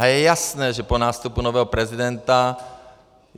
A je jasné, že po nástupu nového prezidenta...